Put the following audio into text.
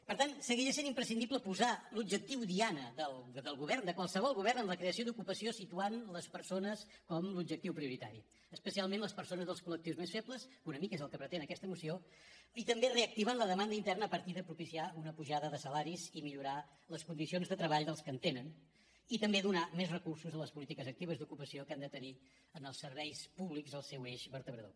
per tant segueix essent imprescindible posar l’objectiu diana del govern de qualsevol govern en la creació d’ocupació situant les persones com l’objectiu prioritari especialment les persones dels col que una mica és el que pretén aquesta moció i també reactivant la demanda interna a partir de propiciar una pujada de salaris i millorar les condicions de treball dels que en tenen i també donar més recursos a les polítiques actives d’ocupació que han de tenir en els serveis públics el seu eix vertebrador